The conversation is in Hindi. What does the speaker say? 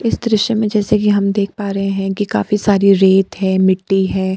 इस दृश्य में जैसे कि हम देख पा रहे है कि काफी सारी रेत हैं मिट्टी है।